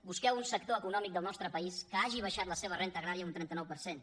busqueu un sector econòmic del nostre país que hagi baixat la seva renda agrària un trenta nou per cent